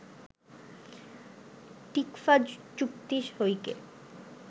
TICFA চুক্তি সইকে